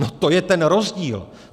No, to je ten rozdíl.